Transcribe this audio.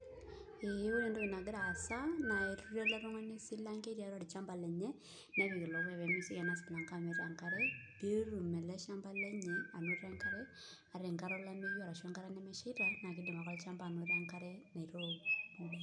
Ee ore entoki nagira aasa naa ketuturo ele tung'ani esilanke tiatua olchamba lenye nepik ilo puya pee mesioki ina silanke amit enkare pee etum ele shamba lenye anoto enkare ata enkata olameyu ashu enkata nemeshaita naa kiidim ake olchamba anoto enkare naitook..